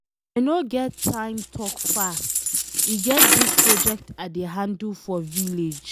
I no get time talk fast. E get dis project I dey handle for village.